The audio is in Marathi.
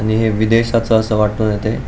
आणि हे विदेशाच अस वाटुन येतय.